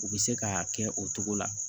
U bɛ se k'a kɛ o cogo la